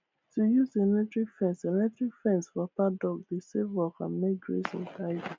to use electric fence electric fence for paddock dey save work and make grazing tidy